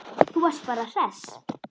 Þú varst bara hress.